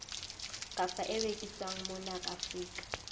kapa e rekiswang mona afrika